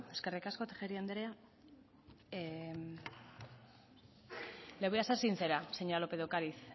eskerrik asko tejeria andrea le voy a ser sincera señora lópez de ocariz